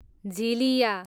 झिलिया